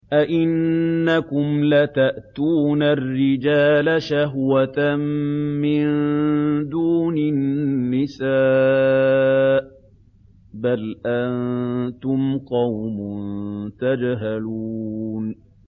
أَئِنَّكُمْ لَتَأْتُونَ الرِّجَالَ شَهْوَةً مِّن دُونِ النِّسَاءِ ۚ بَلْ أَنتُمْ قَوْمٌ تَجْهَلُونَ